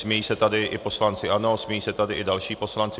Smějí se tady i poslanci ANO, smějí se tady i další poslanci.